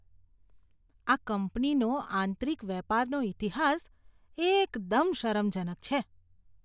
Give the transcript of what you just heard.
આ કંપનીનો આંતરિક વેપારનો ઈતિહાસ એકદમ શરમજનક છે.